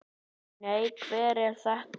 Nei, hver er þetta?